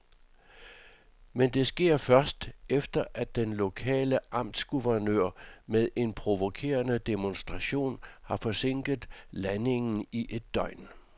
Men det sker først, efter at den lokale amtsguvernør med en provokerende demonstration har forsinket landingen i et døgn.